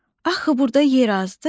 Axı burda yer azdı?